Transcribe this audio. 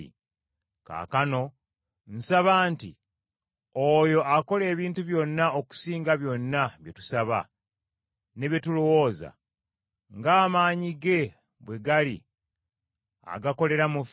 Kaakano nsaba nti oyo akola ebintu byonna okusinga byonna bye tusaba, ne bye tulowooza, ng’amaanyi ge bwe gali agakolera mu ffe,